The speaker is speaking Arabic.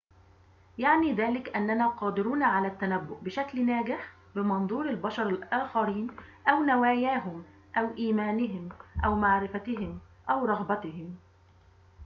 يعني ذلك أننا قادرون على التنبؤ بشكل ناجح بمنظور البشر الآخرين أو نواياهم أو إيمانهم أو معرفتهم أو رغبتهم